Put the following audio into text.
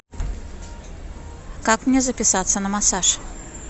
как мне записаться на массаж